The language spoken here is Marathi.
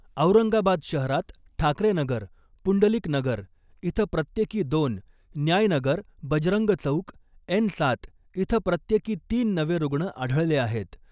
औरंगाबाद शहरात ठाकरे नगर , पुंडलिक नगर इथं प्रत्येकी दोन , न्याय नगर , बजरंग चौक एन सात इथं प्रत्येकी तीन नवे रुग्ण आढळले आहेत .